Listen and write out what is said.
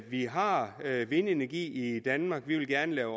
vi har vindenergi i danmark vi vil gerne lave